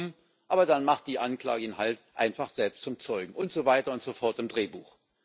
Dumm, aber dann macht die Anklage ihn halt einfach selbst zum Zeugen, und so weiter und so fort im Drehbuch.